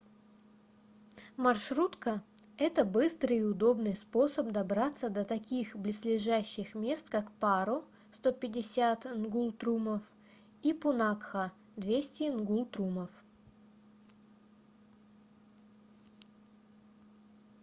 маршрутка — это быстрый и удобный способ добраться до таких близлежащих мест как паро 150 нгултрумов и пунакха 200 нгултрумов